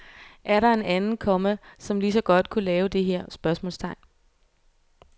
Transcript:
Er der en anden, komma som lige så godt kunne lave det her? spørgsmålstegn